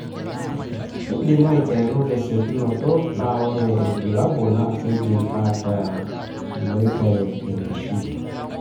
kindim aiteru tesiokinoto, na ore ilbulabula na kindim ata iloiture enkishui.